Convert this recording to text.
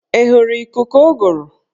Ị hụrụ ikuku ụgụrụ?